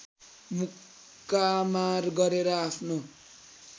मुक्कामार गरेर आफ्नो